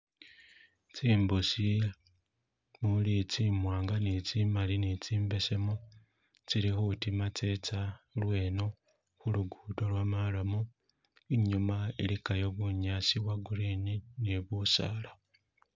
Tsimbusi umuli tsimwanga ni tsimali ni tsimbesemu tisli khudima tsetsa lweno khulugudo lwo marram inyuma iligayo bunyasi bwo green ni busaala